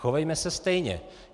Chovejme se stejně.